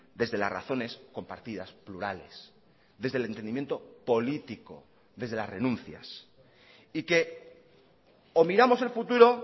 desde las razones compartidas plurales desde el entendimiento político desde las renuncias y que o miramos el futuro